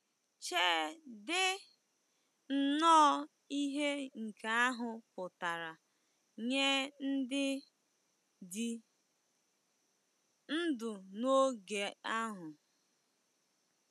Cheedị nnọọ ihe nke ahụ pụtara nye ndị dị ndụ n'oge ahụ!